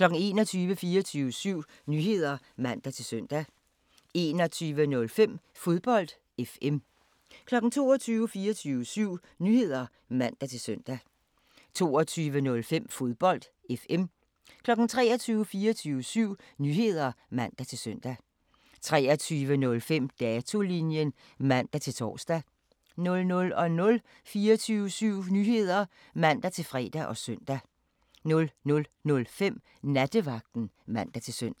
21:00: 24syv Nyheder (man-søn) 21:05: Fodbold FM 22:00: 24syv Nyheder (man-søn) 22:05: Fodbold FM 23:00: 24syv Nyheder (man-søn) 23:05: Datolinjen (man-tor) 00:00: 24syv Nyheder (man-fre og søn) 00:05: Nattevagten (man-søn)